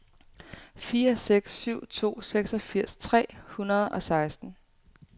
fire seks syv to seksogfirs tre hundrede og seksten